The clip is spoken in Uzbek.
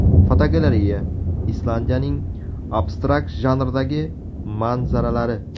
Fotogalereya: Islandiyaning abstrakt janrdagi manzaralari.